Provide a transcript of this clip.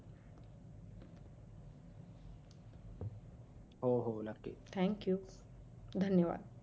हो हो नक्की thank you धन्यवाद